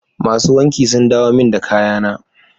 Masu wanki sun dawo min da kayana.